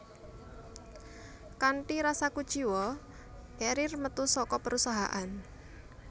Kanthi rasa kuciwa Carrier metu saka perusahaan